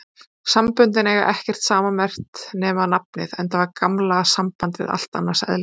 Samböndin eiga ekkert sammerkt nema nafnið, enda var gamla sambandið allt annars eðlis.